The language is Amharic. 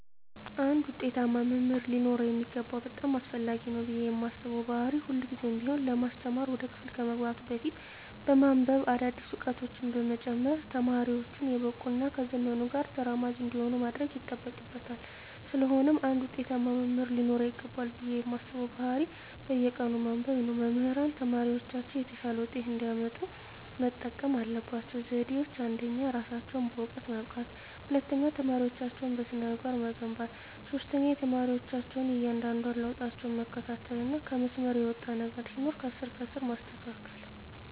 አንድ ውጤታማ መምህር ሊኖረው የሚገባው በጣም አስፈላጊ ነው ብየ ማስበው ባህሪ ሁልግዜም ቢሆን ለማስተማር ወደ ክፍል ከመግባቱ በፊት በማንብበ አዳዲስ እውቀቶችን በመጨመር ተማሪወቹን የበቁ እና ከዘመኑ ጋር ተራማጅ እንዲሆኑ ማድረግ ይጠበቅበታል ስለሆነም አንድ ውጤታማ መምህር ሊኖረው ይገባል ብየ ማስበው ባህሪ በየቀኑ ማንበብ ነው። መምህራን ተማሪወቻቸው የተሻለ ውጤት እንዲያመጡ መጠቀም ያለባቸው ዘዴወች አንደኛ እራሳቸውን በእውቀት ማብቃት፣ ሁለተኛ ተማሪወቻቸውን በስነ-ምግባር መገንባት፣ ሶስተኛ የተማሪወቻቸውን እያንዳንዷን ለውጣቸውን መከታተልና ከመስመር የወጣ ነገር ሲኖር ከስር ከስር ማስተካከል።